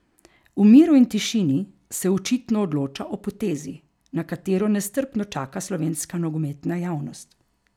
V miru in tišini se očitno odloča o potezi, na katero nestrpno čaka slovenska nogometna javnost.